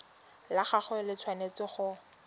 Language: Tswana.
la gagwe le tshwanetse go